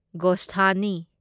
ꯒꯣꯁꯊꯥꯅꯤ